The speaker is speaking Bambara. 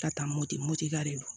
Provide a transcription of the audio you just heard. Ka taa moto motika de don